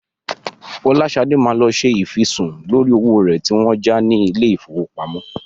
Fọláṣadé máa lọ ṣe ìfisùn lórí owó rẹ̀ tí wọ́n ń já ní ilé-ìfowópamọ́.